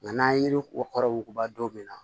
Nka n'an ye yiri ko kɔrɔ wuguba don min na